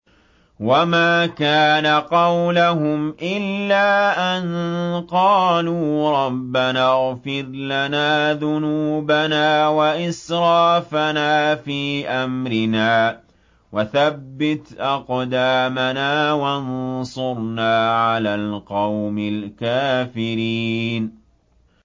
وَمَا كَانَ قَوْلَهُمْ إِلَّا أَن قَالُوا رَبَّنَا اغْفِرْ لَنَا ذُنُوبَنَا وَإِسْرَافَنَا فِي أَمْرِنَا وَثَبِّتْ أَقْدَامَنَا وَانصُرْنَا عَلَى الْقَوْمِ الْكَافِرِينَ